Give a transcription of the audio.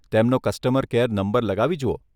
તેમનો customer care number લગાવી જુઓ.